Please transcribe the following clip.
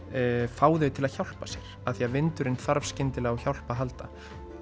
fá þau til að hjálpa sér því vindurinn þarf skyndilega á hjálp að halda